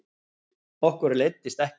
Okkur leiddist ekkert